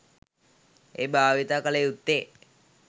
එය භාවිත කළ යුත්තේ